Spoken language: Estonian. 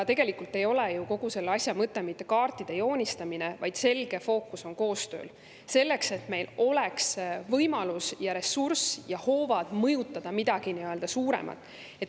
Tegelikult ei ole ju kogu selle asja mõte mitte kaartide joonistamine, vaid selge fookus on koostööl, selleks, et meil oleks võimalus, ressurss ja hoovad mõjutada midagi nii-öelda suuremat.